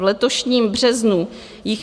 V letošním březnu jich